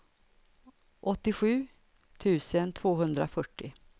åttiosju tusen tvåhundrafyrtio